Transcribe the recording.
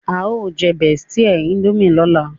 e o je bestie indomie lọla